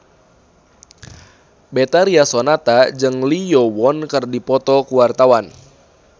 Betharia Sonata jeung Lee Yo Won keur dipoto ku wartawan